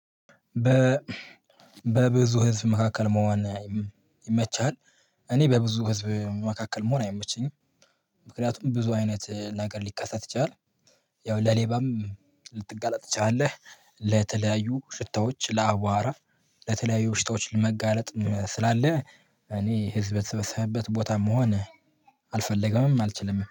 በ በብዙ ህዝብ መካከል መሆን ይመችሃል? እኔ በብዙ ህዝብ መካከል መሆን አይመቸኝም። ምክንያቱም ብዙ አይነት ነገር ሊከሰት ይችላል። ያው ለሌባም ልትጋለጥ ትችላለህ ለተለያዩ ሽታዎች ለአቧራ ለተለያዩ ሽታዎች ለመጋለጥ ስላለ። እኔ ህዝበ ተሰበሰበበት ቦታም መሆን አልፈለገምም። አልችልም